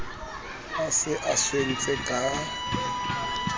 a se a swentse ka